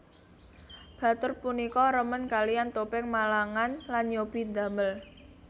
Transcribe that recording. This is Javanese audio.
Batur punika remen kalean topeng Malangan lan nyobi ndamel